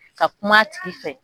Ka kuma a tigi fɛ